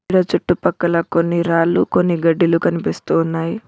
చుట్టుపక్కల కొన్ని రాళ్లు కొన్ని గడ్డిలు కనిపిస్తు ఉన్నాయి.